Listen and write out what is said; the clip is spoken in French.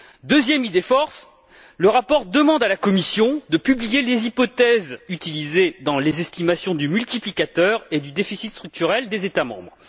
Deuxième idée force le rapport demande à la Commission de publier les hypothèses utilisées dans les estimations du multiplicateur et du déficit structurel des États membres.